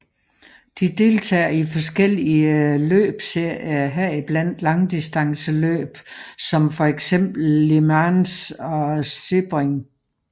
De deltager i forskellige løbsserier heriblandt langdistanceløb som for eksempel Le Mans og Sebring